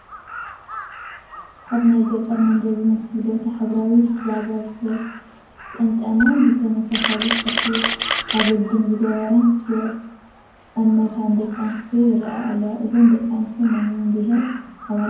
ኣብ ናይ ገጠር መንደር ዝመስል ቦታ ሕብራዊ ብዛዛ ዝጠምጠማ ብተመሳሳሊ ጨርቂ ኣግልድም ዝገራን ዝተቐነታን ደቂ ኣንስዮ ይርአያ ኣለዋ፡፡ እዘን ደቂ ኣንስትዮ ናይ መን ብሄረሰብ ኣባላት ይመስለኩም?